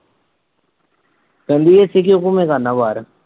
ਕਹਿੰਦੀ ਬਾਹਰ